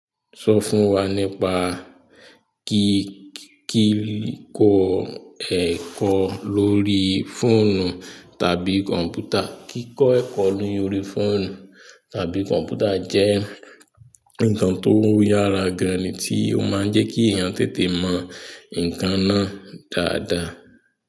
Sọ fún wa nípa kí kí kíkọ́ ẹ̀kọ́ lórí fóònù tàbí kọ̀ǹpútà. Kíkọ́ ẹ̀kọ́ ni órí fóònù tàbí kọ̀ǹpútà jẹ́ ǹkan tó yára gan ni tí ó máa ń jẹ́ kí èèyàn tètè mọ ǹkan náà dáadáa.